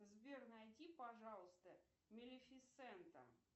сбер найди пожалуйста малефисента